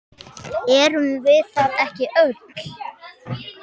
Erum við það ekki öll?